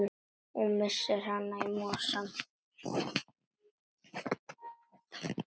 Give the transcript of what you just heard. Og missir hana í mosann.